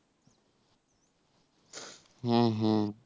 হ্যাঁ হ্যাঁ.